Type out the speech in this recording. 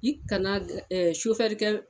I kana g kɛ